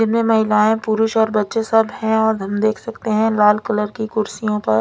इनमे महिलाये पुरुष और बच्चे सब है हम देख सकते है लाल कलर की कुड्सियो पर--